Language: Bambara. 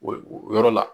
O yɔrɔ la